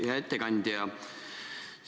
Hea ettekandja!